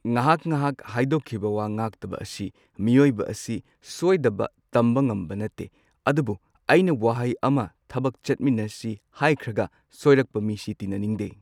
ꯉꯍꯥꯛ ꯉꯍꯥꯛ ꯍꯥꯏꯗꯣꯛꯈꯤꯕ ꯋꯥ ꯉꯥꯛꯇꯕ ꯑꯁꯤ ꯃꯤꯑꯣꯏꯕ ꯑꯁꯤ ꯁꯣꯏꯗꯕ ꯇꯝꯕ ꯉꯝꯕ ꯅꯠꯇꯦ꯫ ꯑꯗꯨꯕꯨ ꯑꯩꯅ ꯋꯥꯍꯩ ꯑꯃ ꯊꯕꯛ ꯆꯠꯃꯤꯟꯅꯁꯤ ꯍꯥꯏꯈ꯭ꯔꯒ ꯁꯣꯏꯔꯛꯄ ꯃꯤꯁꯤ ꯇꯤꯟꯅꯅꯤꯡꯗꯦ꯫